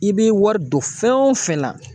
I bɛ wari don fɛn o fɛn na.